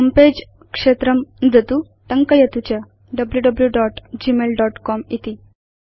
होमे पगे क्षेत्रं नुदतु टङ्कयतु च wwwgmailcom इति